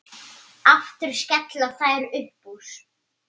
Aftur skella þær upp úr.